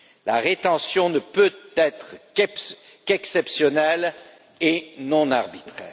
La rétention ne peut être qu'exceptionnelle et non arbitraire.